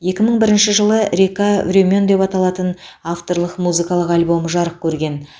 екі мың бірінші жылы река времен деп аталатын авторлық музыкалық альбомы жарық көрген